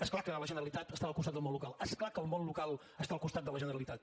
és clar que la generalitat està al costat del món local és clar que el món local està al costat de la generalitat